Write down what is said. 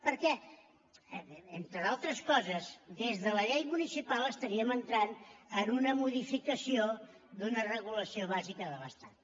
perquè entre d’altres coses des de la llei municipal estaríem entrant en una modificació d’una regulació bàsica de l’estat